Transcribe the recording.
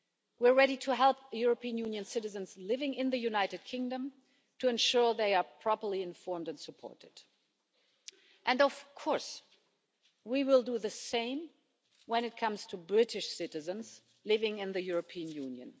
We are ready to help European Union citizens living in the United Kingdom to ensure they are properly informed and supported. And of course we will do the same when it comes to British citizens living in the European Union.